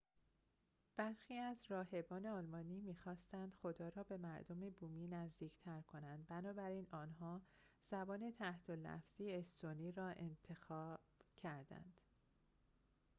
برخی از راهبان آلمانی می خواستند خدا را به مردم بومی نزدیک‌تر کنند بنابراین آنها زبان تحت لفظی استونی را اختراع کردند